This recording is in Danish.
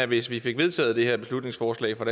hvis vi fik vedtaget det her beslutningsforslag fra